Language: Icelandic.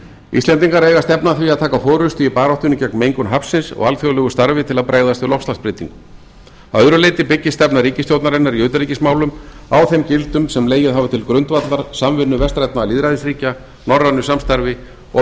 íslendingar eiga að stefna að því að taka forustu í baráttunni gegn mengun hafsins og alþjóðlegu starfi til að bregðast við loftslagsbreytingum að öðru leyti byggist stefna ríkisstjórnarinnar í utanríkismálum á þeim gildum sem legið hafa til grundvallar samvinnu vestrænna lýðræðisríkja norrænu samstarfi og